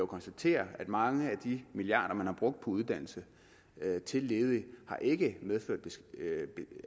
konstatere at mange af de milliarder man har brugt på uddannelse til ledige ikke medført